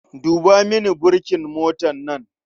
Duba mini burkin motar nan.